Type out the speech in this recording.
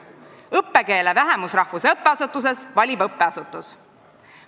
Õppekeele vähemusrahvuse õppeasutuses valib õppeasutus.